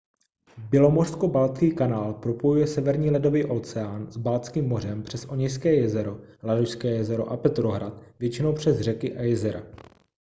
bělomořsko-baltský kanál propojuje severní ledový oceán s baltským mořem přes oněžské jezero ladožské jezero a petrohrad většinou přes řeky a jezera